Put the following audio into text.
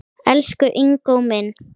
Elsku Ingó minn.